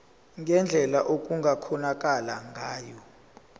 ngendlela okungakhonakala ngayo